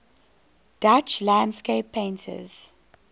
dutch landscape painters